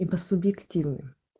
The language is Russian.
и по субъективным